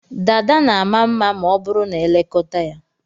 Dada na ama mma ma ọ bụrụ na e lekọta ya.